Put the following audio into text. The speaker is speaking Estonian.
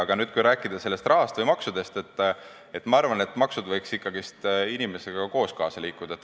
Aga kui rääkida rahast või maksudest, siis ma arvan, et maksud võiks ikkagi inimesega koos liikuda.